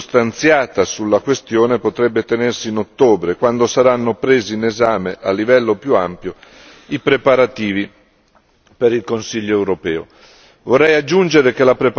Una discussione più circostanziata sulla questione potrebbe tenersi in ottobre, quando saranno presi in esame a livello più ampio i preparativi per il Consiglio europeo.